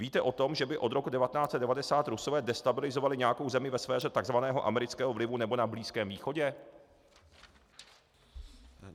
Víte o tom, že by od roku 1990 Rusové destabilizovali nějakou zemi ve sféře tzv. amerického vlivu nebo na Blízkém východě?